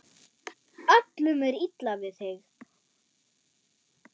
Öllum er illa við þig!